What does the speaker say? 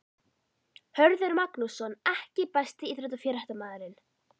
Hörður Magnússon EKKI besti íþróttafréttamaðurinn?